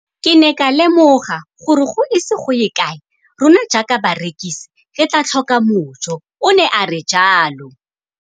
Ke ne ka lemoga gore go ise go ye kae rona jaaka barekise re tla tlhoka mojo, o ne a re jalo.